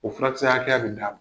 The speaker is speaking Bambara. O furakisɛ hakɛya bɛ d'a ma.